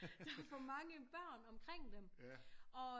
Der er for mange børn omkring dem og